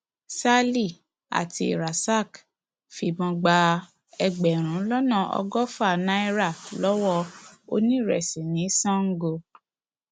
sally àti rasak fìbọn gba ẹgbẹrún lọnà ọgọfà náírà lọwọ oníréṣesí ní sango